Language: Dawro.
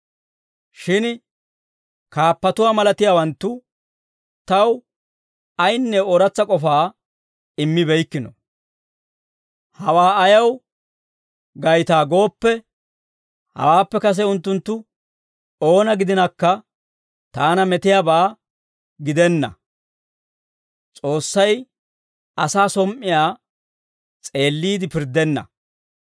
Shin kaappatuwaa malatiyaawanttu taw ayinne ooratsa k'ofaa immibeykkino; hawaa ayaw gaytaa gooppe, hawaappe kase unttunttu oona gidinakka taana metiyaabaa gidenna; S'oossay asaa som"iyaa s'eelliide pirddenna.